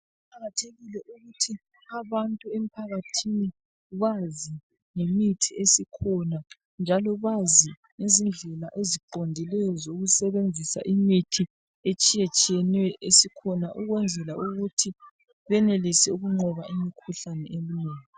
Kuqakathekile ukuthi abantu emphakathini bazi ngemithi esikhona njalo bazi ngezindlela eziqondileyo zokusebenzisa imithi etshiyetshiyeneyo esikhona ukwenzela ukuthi benelise ukunqoba imikhuhlane eminengi.